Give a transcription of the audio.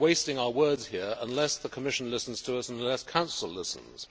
We are wasting our words here unless the Commission listens to us and unless the Council listens.